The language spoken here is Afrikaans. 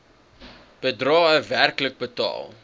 bedrae werklik betaal